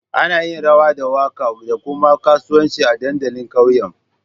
Ana yin rawa da waka da kuma kasuwanci a dandalin ƙauyen